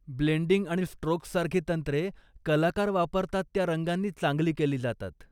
Blending आणि स्ट्रोक्ससारखी तंत्रे कलाकार वापरतात त्या रंगांनी चांगली केली जातात.